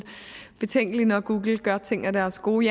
betænkelig når google gør ting af deres gode